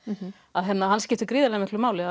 hann skiptir miklu máli